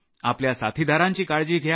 आपल्या साथीदारांची काळजी घ्या